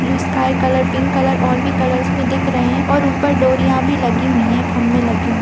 Blue sky colour pink colour और भी colours मे दिख रहे है और ऊपर डोरिया भी लगी हुई है खंभे लगे हुए है।